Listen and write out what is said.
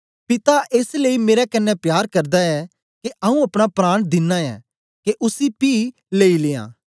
पिता एस लेई मेरे कन्ने प्यार करदा ऐ के आऊँ अपना प्राण दिना ऐं के उसी पी लेई लियां